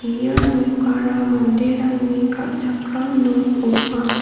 ia nokara manderangni kal·chakram nok ong·a.